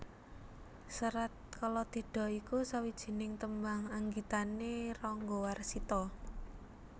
Serat Kalatidha iku sawijining tembang anggitané Ranggawarsita